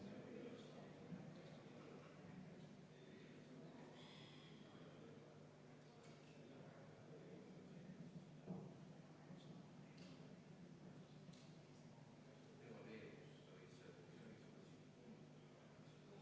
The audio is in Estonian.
Vaheaeg, mida soovis Konservatiivse Rahvaerakonna fraktsioon, on lõppenud ja panen hääletusele kümnenda muudatusettepaneku.